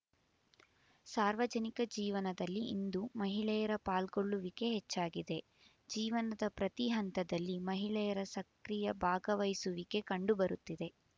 ಸಾರ್ವಜನಿಕ ಜೀವನದಲ್ಲಿ ಇಂದು ಮಹಿಳೆಯರ ಪಾಲ್ಗೊಳ್ಳುವಿಕೆ ಹೆಚ್ಚಾಗಿದೆ ಜೀವನದ ಪ್ರತಿ ಹಂತದಲ್ಲಿ ಮಹಿಳೆಯರ ಸಕ್ರಿಯ ಭಾಗವಹಿಸುವಿಕೆ ಕಂಡು ಬರುತ್ತಿದೆ